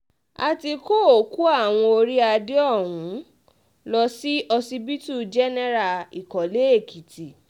a ti kó òkú àwọn orí adé ọ̀hún lọ sí ọsibítù jẹ́nẹ́ra ìkọ́lé-èkìtì